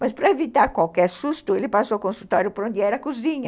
Mas para evitar qualquer susto, ele passou o consultório para onde era a cozinha.